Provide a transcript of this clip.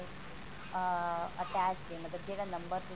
ah attached ਹੈ ਮਤਲਬ ਜਿਹੜਾ ਨੰਬਰ ਤੁਸੀਂ